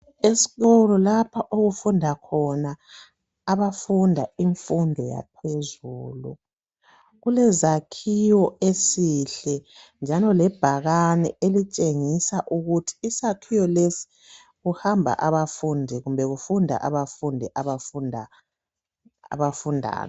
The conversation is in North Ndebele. Esikolo lapho okufunda khona abafunda imfundo yaphezu, kulezakhiwo esihle njalo lebhakane elitshengisa ukuthi isakhiwo lesi kuhamba abafundi kumbe kufunda abafundi abafundani.